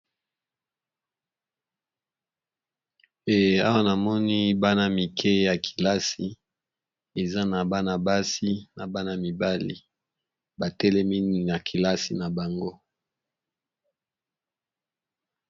Awa namoni bana mike ya kelasi eza na bana basi na bana mibali, , ba telemi ya kelasi na bango .